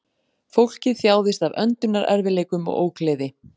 Fólkið þjáðist af öndunarerfiðleikum og ógleði